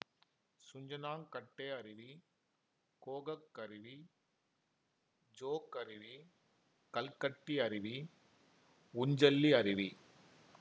சுஞ்சனாக்கட்டே அருவி கோகக் அருவி ஜோக் அருவி கல்கட்டி அருவி உஞ்சள்ளி அருவி